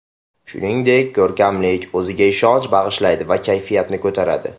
Shuningdek, ko‘rkamlik, o‘ziga ishonch bag‘ishlaydi va kayfiyatni ko‘taradi.